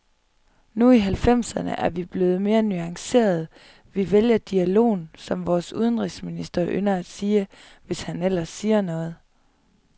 Nu i halvfemserne er vi blevet mere nuancerede, vi vælger dialogen, som vores udenrigsminister ynder at sige, hvis han ellers siger noget.